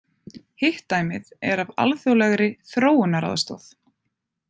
Hitt dæmið er af alþjóðlegri þróunaraðstoð.